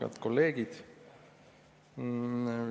Head kolleegid!